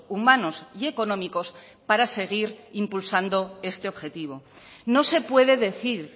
humanos y económicos para seguir impulsando este objetivo no se puede decir